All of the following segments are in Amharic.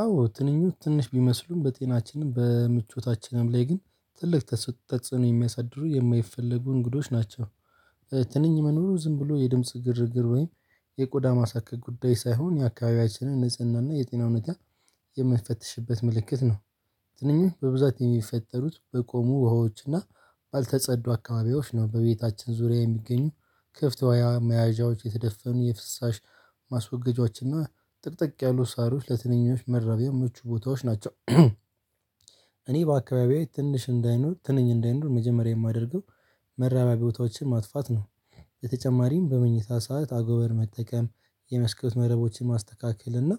አዎ ትንኞች ትንሽ ቢመስሉም በጤናችንም በምቾታችንም ላይ ግን ትልቅ ተጥ ተጽዕኖ የሚያሳድሩ የማይፈለጉ እንግዶች ናቸው። ትንኝ መኖሩ ዝም ብሎ የድምጽ ግርግር ወይም የቆዳ ማሳከክ ጉዳይ ሳይሆን የአካባቢያችንም ንጽህናና የጤና ሁኔታ የሚያስትፈትሽበት ምልክት ነው። ትንኞች በብዛት የሚፈጠሩት በቆሙ ውሃዎች እና ባልተጸዱ አካባቢዎች ነው። በቤታችን ዙሪያ የሚገኙ ክፍት ወያኔ መያዣዎች የተደፈኑ የፍሳሽ ማስወገጃችን እና ጥቅጥቅ ያሉ ሳሮች ለትንኞች መረቢያ ምቹ ቦታዎች ናቸው። እኔ በአካባቢያዬ ትንሽ እንዳይኖር ትንኝ እንዳይኖር መጀመሪያ የማደርገው መራቢያ ቦታዎችን ማጥፋት ነው። በተጨማሪም በመኝታ ሰዓት አጎበር መጠቀም የመስኮት መረቦችን ማስተካከል እና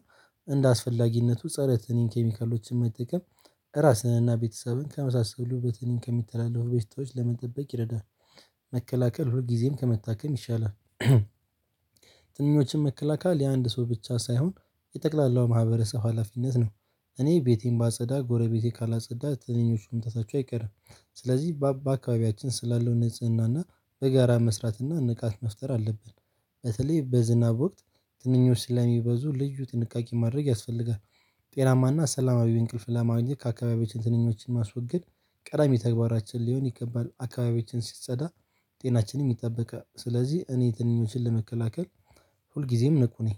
እንደ አስፈላጊነቱ ፀረ ትንኝ ኬሚካሎችን መጠቀም ራስንና ቤተሰብን ከመሳሰሉ በ ትንኝ ከሚተላለፉ በሽታዎች ለመጠበቅ ይረዳል። መከላከል ሁል ጊዜም ከመታከም ይሻላል። ትንኞችን መከላከል የአንድ ሰው ብቻ ሳይሆን የጠቅላላው ማህበረሰብ ሀላፊነት ነው። እኔ ቤቴን ባጸዳ ጎረቤቴ ካላጸዳ ትንኞች መምጣታቸው አይቀርም። ስለዚህ በአካባቢያችን ስላለው ንጽህና እና በጋራ መስራት እና ንቃት መፍጠር አለብን። በተለይ በዝና ወቅት ትንኞች ስለሚበዙ ልዩ ጥንቃቄ ማድረግ ያስፈልጋል። ጤናማና ሰላማዊ እንቅልፍ ለማግኘት ከአካባቢያችን ትንኞችን ማስወገድ ቀዳሚ ተግባራችን ሊሆን ይገባል። አካባቢዎችን ሲጸዳ ጤናችንም ይጠበቃል። ስለዚህ እኔ ትንኞችን ለመከላከል ሁልጊዜም ንቁ ነኝ።